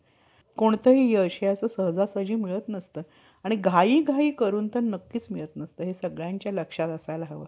कार्यकीर्दीत येईल. आमच्या मूळ पूर्वजास रणांगणी~ रणांगणी जिंकून आपल्या आपले दास केले. व त्याने आपले लोक आणि,